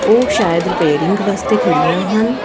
ਉਹ ਸ਼ਾਇਦ ਰਿਪੇਅਰਿੰਗ ਵਾਸਤੇ ਖੜੀਆਂ ਹਨ।